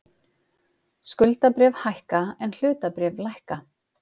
Skuldabréf hækka en hlutabréf lækka